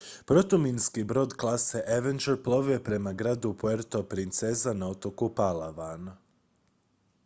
protuminski brod klase avenger plovio je prema gradu puerto princesa na otoku palawan